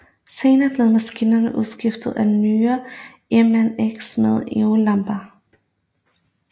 Senere blev maskinerne udskiftet med nyere Ernemann X med xenonlamper